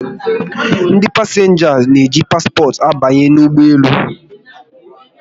Ndị pasịnja n'eji paspọt abanye n'ụgbọelu